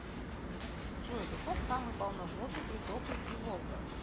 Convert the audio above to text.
джой каков самый полноводный приток реки волга